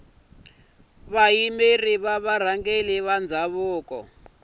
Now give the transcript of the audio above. vayimeri va varhangeri va ndhavuko